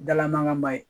Dalamankan ma ye